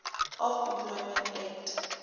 of employment act